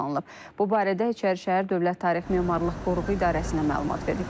Bu barədə İçərişəhər Dövlət Tarix Memarlıq Qoruğu İdarəsinə məlumat verilib.